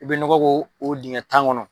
I bɛ nɔgɔ ko o dingɛ tan kɔnɔ.